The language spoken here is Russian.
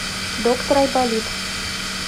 доктор айболит